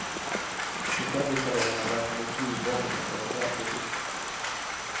De serbiska ledarna räknar nu flygbombningar som ett verkligt hot.